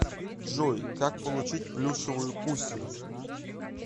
джой как получить плюшевую кусю